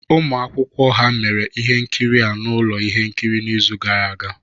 Ụmụ akwụkwọ ha mere ihe nkiri a na ụlọ ihe nkiri n'izu gara aga